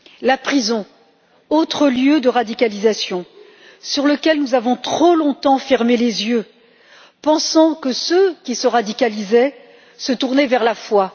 La prison, autre lieu de radicalisation sur lequel nous avons trop longtemps fermé les yeux, pensant que ceux qui se radicalisaient se tournaient vers la foi.